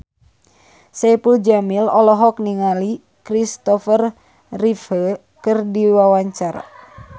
Saipul Jamil olohok ningali Kristopher Reeve keur diwawancara